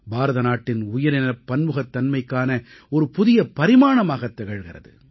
பாரதநாட்டின் உயிரினப் பன்முகத்தன்மைக்கான ஒரு புதிய பரிமாணமாகத் திகழ்கிறது